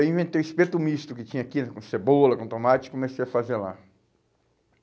Aí eu inventei o espeto misto que tinha aqui, com cebola, com tomate, e comecei a fazer lá.